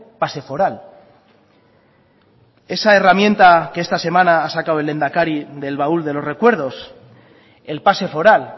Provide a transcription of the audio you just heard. pase foral esa herramienta que esta semana ha sacado el lehendakari del baúl de los recuerdos el pase foral